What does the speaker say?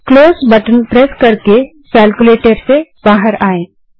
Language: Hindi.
क्लोज बटन प्रेस करके केल्क्युलेटर से बाहर आएँ